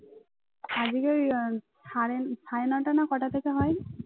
আজকে ওই সাড়ে সাড়ে নটা না কটা থেকে হয়?